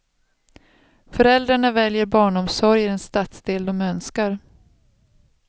Föräldrarna väljer barnomsorg i den stadsdel de önskar.